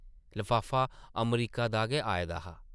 लफाफा अमरीका दा गै आए दा हा ।